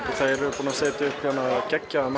þeir eru búnir að setja upp geggjaðan